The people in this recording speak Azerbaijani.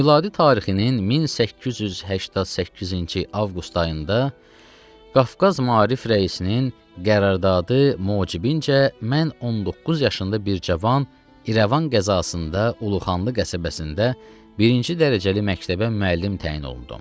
Miladi tarixinin 1888-ci avqust ayında Qafqaz Maarif rəisinin qəraradı mucibincə mən 19 yaşında bir cavan İrəvan qəzasında Uluxanlı qəsəbəsində birinci dərəcəli məktəbə müəllim təyin olundum.